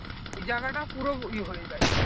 ওই জায়গা টা পুরো এই হয়ে যায়